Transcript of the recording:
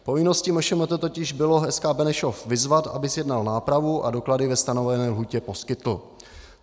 Povinností MŠMT totiž bylo SK Benešov vyzvat, aby zjednal nápravu a doklady ve stanovené lhůtě poskytl.